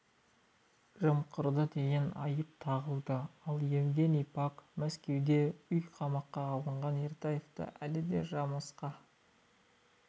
жымқырды деген айып тағылды ал евгений пак мәскеуде үй қамаққа алынған ертаевтың әлі де жымысқы